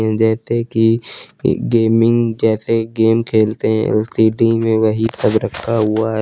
जैसे कि गेमिंग जैसे गेम खेलते हैं सिटी में वही सब रखा हुआ है।